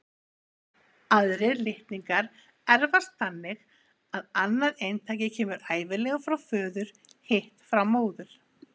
Aðrir litningar erfast þannig að annað eintakið kemur ævinlega frá föður, hitt frá móður.